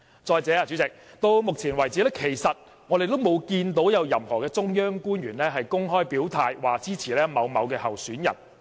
再者，代理主席，到目前為止，其實我們沒有看到有任何中央官員公開表態支持某位候選人。